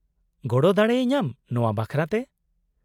-ᱜᱚᱲᱚ ᱫᱟᱲᱮ ᱤᱧᱟᱹᱢ ᱱᱚᱶᱟ ᱵᱟᱠᱷᱨᱟᱛᱮ ?